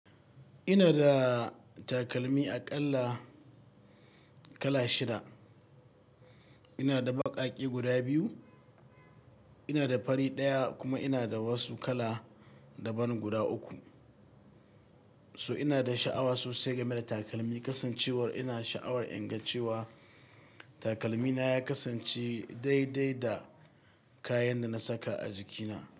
Ina da takalmi aƙalla kala shida. Ina da baƙaƙe guda biyu, ina da fari ɗaya kuma ina da wasu kala daban guda uku. So ina da sha'awa sosai game da takalmi kasancewar ina sha'awar inga cewa takalmi na ya kasance daidai da kayan da na saka a jikina.